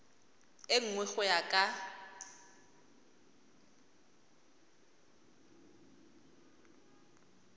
e nngwe go ya ka